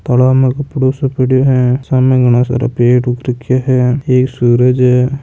तालाब में कपड़ो सो पड़ियो है सामै घणा सारा पेड़ उग रख्या है एक सूरज हैं।